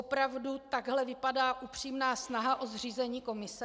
Opravdu takhle vypadá upřímná snaha o zřízení komise?